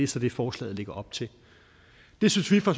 så det forslaget lægger op til det synes vi fra